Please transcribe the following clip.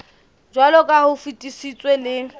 jwaloka ha o fetisitswe le